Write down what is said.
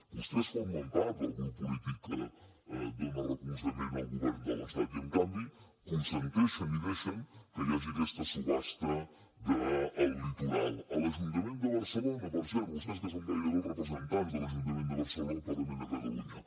vostès formen part del grup polític que dona recolzament al govern de l’estat i en canvi consenteixen i deixen que hi hagi aquesta subhasta del litoral a l’ajuntament de barcelona per cert vostès que són gairebé els representants de l’ajuntament de barcelona al parlament de catalunya